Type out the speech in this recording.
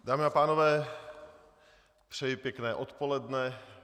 Dámy a pánové, přeji pěkné odpoledne.